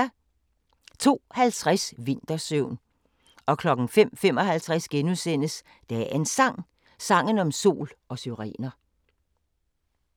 02:50: Vintersøvn 05:55: Dagens Sang: Sangen om sol og syrener *